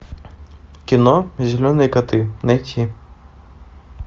кино зеленые коты найти